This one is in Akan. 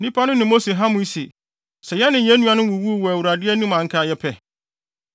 Nnipa no ne Mose hamee se, “Sɛ yɛne yɛn nuanom wuwuu wɔ Awurade anim a anka yɛpɛ.